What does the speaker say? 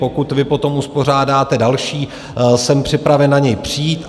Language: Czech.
Pokud vy potom uspořádáte další, jsem připraven na něj přijít.